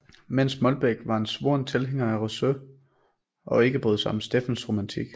Mens Molbech var en svoren tilhænger af Rousseau og ikke brød sig om Steffens romantik